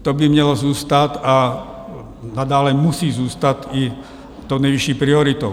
To by mělo zůstat a nadále musí zůstat i tou nejvyšší prioritou.